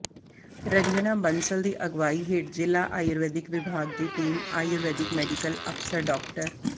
ਰੰਜਣਾ ਬੰਸਲ ਦੀ ਅਗਵਾਈ ਹੇਠ ਜ਼ਿਲ੍ਹਾ ਆਯੁਰਵੈਦਿਕ ਵਿਭਾਗ ਦੀ ਟੀਮ ਆਯੁਰਵੈਦਿਕ ਮੈਡੀਕਲ ਅਫ਼ਸਰ ਡਾ